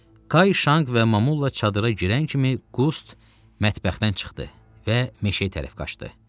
Kay Şanq və Mamulla çadıra girən kimi Qust mətbəxdən çıxdı və meşəyə tərəf qaçdı.